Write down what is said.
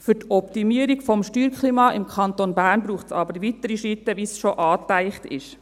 Für die Optimierung des Steuerklimas im Kanton Bern braucht es aber weitere Schritte, wie sie bereits angedacht sind.